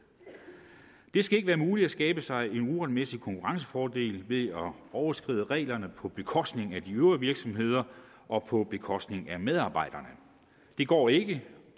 det skal ikke være muligt at skabe sig en uretmæssig konkurrencefordel ved at overskride reglerne på bekostning af de øvrige virksomheder og på bekostning af medarbejderne det går ikke